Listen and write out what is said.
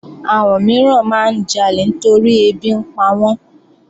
Àwọn mìíràn máa ń jalè torí ẹbí ń pawọ́n